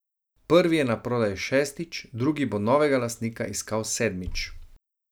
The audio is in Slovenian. Prvi je naprodaj šestič, drugi bo novega lastnika iskal sedmič.